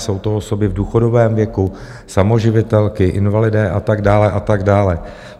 Jsou to osoby v důchodovém věku, samoživitelky, invalidé a tak dále, a tak dále.